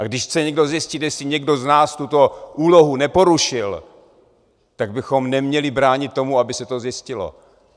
A když chce někdo zjistit, jestli někdo z nás tuto úlohu neporušil, tak bychom neměli bránit tomu, aby se to zjistilo.